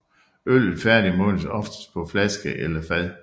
Øllet færdigmodnes oftest på flaske eller fad